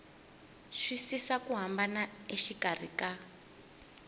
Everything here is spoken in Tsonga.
twisisa ku hambana exikarhi ka